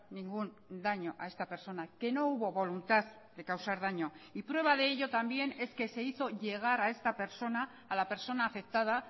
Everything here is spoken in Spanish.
ningún daño a esta persona que no hubo voluntad de causar daño y prueba de ello también es que se hizo llegar a esta persona a la persona afectada